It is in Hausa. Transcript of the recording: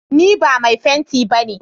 Ni ba mai fenti ba ne.